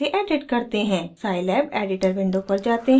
scilab editor window पर जाते हैं